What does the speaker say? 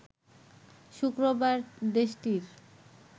শুক্রবার দেশটির